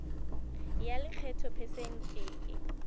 ya lekgetho phesente e